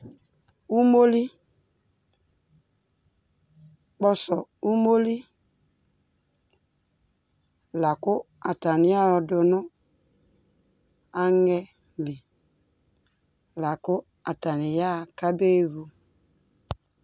ɔmɔli, kpɔsɔ ʋmɔli lakʋ atani yadʋ nʋ angɛ li lakʋ atani yaha kʋ abɛvʋ